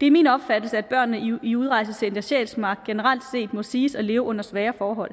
det er min opfattelse at børnene i udrejsecenter sjælsmark generelt set må siges at leve under svære forhold